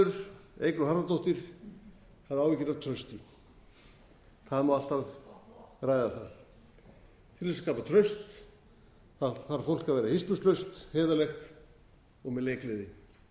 háttvirtur þingmaður eygló harðardóttir hafði áhyggjur af trausti það má alltaf ræða það til þess að skapa traust þarf fólk að vera hispurslaust heiðarlegt og með leikgleði